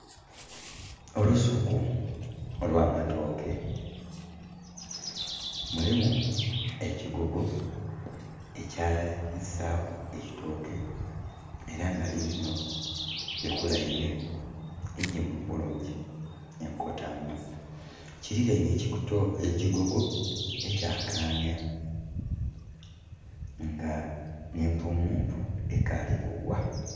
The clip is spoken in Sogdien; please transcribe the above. Olusuku olw'amatooke mulimu ekigogo ekya isaaku eitoke ela nga liilino likulainhe igimu bulungi enkota mba. Kililainhe ekigogo ekya kaanya nga empumumpu ekaali kugwa.